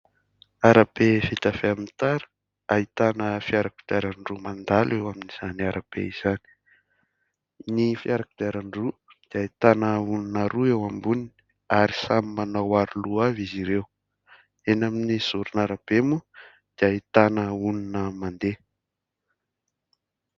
Arabe vita avy amin'ny tara. Ahitana fiara kodiaran-droa mandalo eo amin'izany arabe izany. Ny fiara kodiaran-droa dia ahitana olona roa eo amboniny ary samy manao aroloha avy izy ireo. Eny amin'ny zoron'arabe moa dia ahitana olona mandeha.